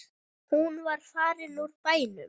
Hún var farin úr bænum.